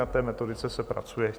Na té metodice se pracuje.